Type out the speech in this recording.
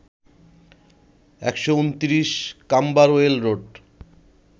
১২৯, Camberwell road